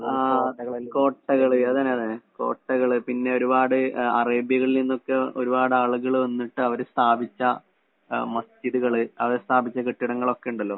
ആഹ് കോട്ടകള് അതന്നെ അതന്നെ. കോട്ടകള് പിന്നൊരുപാട് അഹ് അറേബ്യയിൽ നിന്നൊക്കെ ഒരുപാടാളുകള് വന്നിട്ട് അവര് സ്ഥാപിച്ച അഹ് മസ്ജിദ്കള്, അവര് സ്ഥാപിച്ച കെട്ടിടങ്ങളൊക്കെ ഇണ്ടല്ലോ?